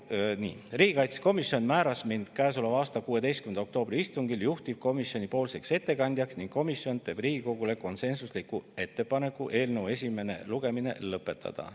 Nii, riigikaitsekomisjon määras mind käesoleva aasta 16. oktoobri istungil juhtivkomisjoni ettekandjaks ning komisjon teeb Riigikogule konsensusliku ettepaneku eelnõu esimene lugemine lõpetada.